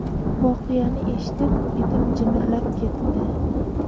Voqeani eshitib, etim jimirlab ketdi.